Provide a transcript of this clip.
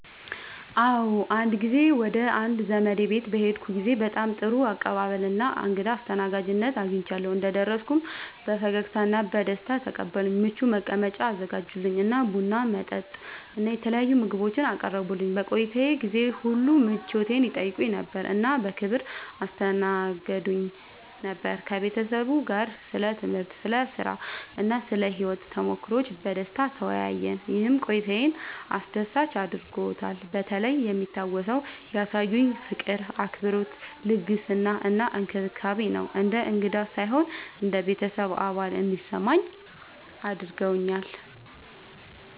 አዎ፣ አንድ ጊዜ ወደ አንድ ዘመዴ ቤት በሄድኩበት ጊዜ በጣም ጥሩ አቀባበል እና እንግዳ አስተናጋጅነት አግኝቻለሁ። እንደደረስኩ በፈገግታ እና በደስታ ተቀበሉኝ፣ ምቹ መቀመጫ አዘጋጁልኝ እና ቡና፣ መጠጥ እና የተለያዩ ምግቦችን አቀረቡልኝ። በቆይታዬ ጊዜ ሁሉ ምቾቴን ይጠይቁ ነበር እና በክብር ያስተናግዱኝ ነበር። ከቤተሰቡ ጋር ስለ ትምህርት፣ ስለ ሥራ እና ስለ ሕይወት ተሞክሮዎች በደስታ ተወያየን፣ ይህም ቆይታዬን አስደሳች አድርጎታልበተለይ የሚታወሰው ያሳዩኝ ፍቅር፣ አክብሮት፣ ልግስና እና እንክብካቤ ነው። እንደ እንግዳ ሳይሆን እንደ ቤተሰብ አባል እንዲሰማኝ አድርገውኛል።